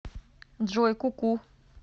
джой ку ку